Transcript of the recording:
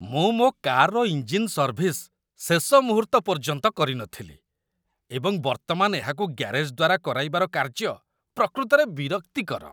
ମୁଁ ମୋ କାର୍‌ର ଇଞ୍ଜିନ୍ ସର୍ଭିସ୍ ଶେଷ ମୁହୂର୍ତ୍ତ ପର୍ଯ୍ୟନ୍ତ କରିନଥିଲି, ଏବଂ ବର୍ତ୍ତମାନ ଏହାକୁ ଗ୍ୟାରେଜ୍‌ ଦ୍ୱାରା କରାଇବାର କାର୍ଯ୍ୟ ପ୍ରକୃତରେ ବିରକ୍ତିକର